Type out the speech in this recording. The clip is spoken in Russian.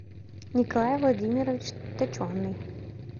николай владимирович точеный